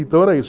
Então era isso.